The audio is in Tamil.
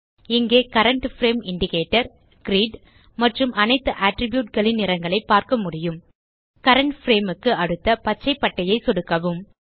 இங்கே கரண்ட் பிரேம் இண்டிகேட்டர் கிரிட் மற்றும் அனைத்து அட்ரிப்யூட் களின் நிறங்களை பார்க்க முடியும் கரண்ட் பிரேம் க்கு அடுத்த பச்சை பட்டையை சொடுக்கவும்